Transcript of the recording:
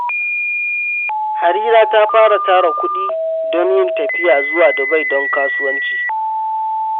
Harira ta fara tara kuɗi don yin tafiya zuwa Dubai don kasuwanci.